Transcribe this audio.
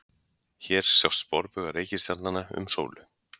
Hér sjást sporbaugar reikistjarnanna um sólu.